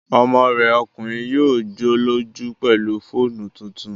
Ọmọ rẹ̀ ọkùnrin yóò jọ́lọ́jú pẹ̀lú fóònù tuntun